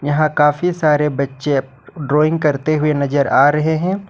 यहां काफी सारे बच्चे ड्राविंग करते हुए नजर आ रहे हैं।